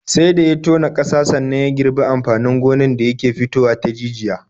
Sai da ya tona ƙasa sannan ya girbi amfanin gonan da yake fitowa ta jijiya.